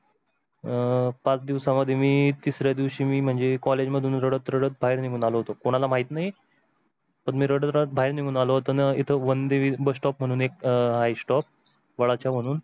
अं पचा दिवसा मध्ये मी तिसऱ्या दिवशी मी म्हणजे college मधून रडत रडत बाहेर निघून आलो होतो, कोणाला माहीत नाही पण मी रडत रडत बाहेर निघून आलो होतो इथे एक bus stop वंडे म्हणून होता एक stop